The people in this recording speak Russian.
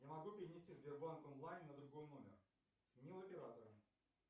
не могу перенести сбербанк онлайн на другой номер сменил оператора